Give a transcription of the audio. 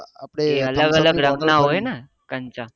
એ અલગ અલગ રત્ન હોય ને